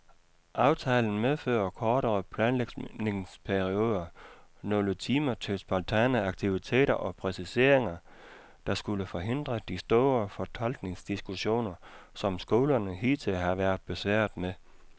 Aftalen medfører kortere planlægningsperioder, nogle timer til spontane aktiviteter og præciseringer, der skulle forhindre de store fortolkningsdiskussioner, som skolerne hidtil har været besværet med.